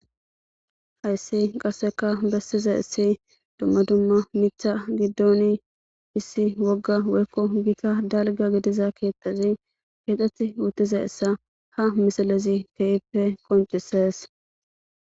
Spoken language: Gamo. Hayssi qarseka bessize issi dumma dumma mitha giddoni issi wogga weykko giita dalga gidiza keettazi keexxet wutize issa ha misalezi keippe qoncises.